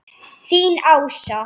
Þín Ása.